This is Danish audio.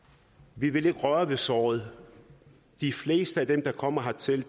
vi vil ikke røre ved såret de fleste af dem der kommer hertil